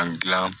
An gilan